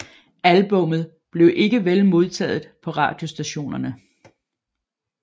Albummet blev ikke vel modtaget på radiostationerne